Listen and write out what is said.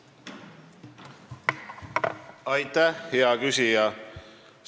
Aitäh, hea küsija!